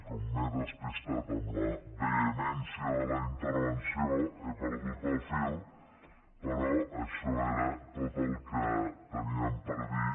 com que m’he despistat amb la vehemència de la intervenció he perdut el fil però això era tot el que teníem per dir